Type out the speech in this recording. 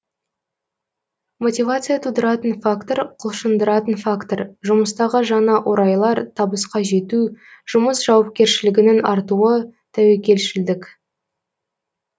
мотивация тудыратын фактор құлшындыратын фактор жұмыстағы жаңа орайлар табысқа жету жұмыс жауапкершілігінің артуы тәуекелшілдік